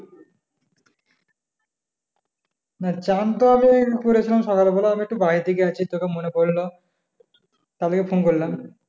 না স্নান তো আমি করেছিলাম সকাল বেলা আমি একটু বাড়ি থেকে গেইছি তোকে মনে পড়ল তার লেগে phone করলাম